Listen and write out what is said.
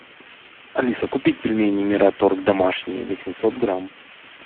алиса купить пельмени мираторг домашние восемьсот грамм